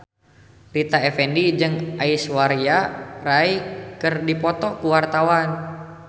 Rita Effendy jeung Aishwarya Rai keur dipoto ku wartawan